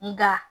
Nga